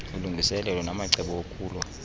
ulungiselelo namacebo okulwa